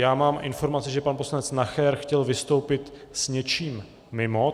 Já mám informaci, že pan poslanec Nacher chtěl vystoupit s něčím mimo.